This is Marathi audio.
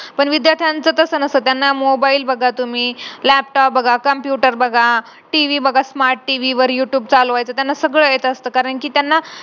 family कडून असतो कारण अपेक्षा च्या ओझे खाली आपण दाबलेलो असतो जेणेकरून आपल्या family ला expectation असते की आपण अभ्यास करून college करू काय तरी बनावं .